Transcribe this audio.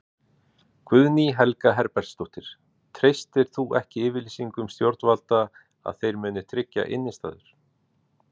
Guðný Helga Herbertsdóttir: Treystir þú ekki yfirlýsingum stjórnvalda að þeir muni tryggja innistæður?